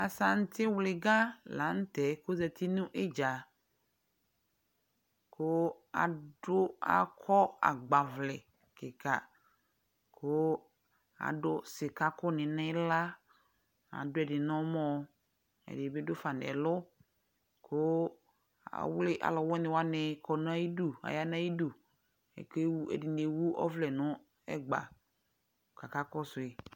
Asantivlɩga la nʋ tɛ kʋ ɔzati nʋ ɩdza kʋ adʋ, akɔ agbavlɛ kɩka kʋ adʋ sɩkakʋnɩ nʋ ɩɣla, adʋ ɛdɩ nʋ ɔmɔ, ɛdɩ bɩ dʋ fa nʋ ɛlʋ kʋ ɔvlɩ alʋwɩnɩ wanɩ kɔ nʋ ayidu, aya nʋ ayidu Akewu, ɛdɩnɩ ewu ɔvlɛ nʋ ɛgba kʋ akakɔsʋ yɩ